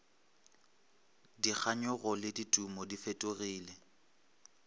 dikganyogo le ditumo di fetogile